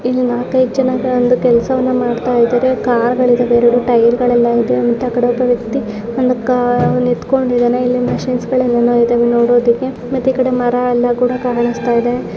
ಇಲ್ಲಿ ನಾಲ್ಕೈದು ಜನ ಒಂದು ಕೆಲ್ಸವನ್ನ ಮಾಡ್ತಾ ಇದ್ದಾರೆ ಕಾರ್ಗ ಳಿದವೇ ಎರೆಡು ಟೈರ್ಗ ಳೆಲ್ಲ ಇದೆ ಅಂತ ಕಡೆ ಒಬ್ಬ ವ್ಯಕ್ತಿ ಒಂದು ಕಾ ನಿಂತಕೊಂಡಿದನೆ ಇಲ್ಲಿ ಮಷೀನ್ಸ್ ಗಳೆಲ್ಲ ಏನೇನೋ ಇದೆ ನೋಡುವುದಕ್ಕೆ ಮತ್ತೆ ಈಕಡೆ ಮರ ಎಲ್ಲ ಕೂಡ ಕಾಣಿಸ್ತಾ ಇದೆ .